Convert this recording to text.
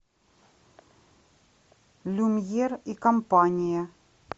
люмьер и компания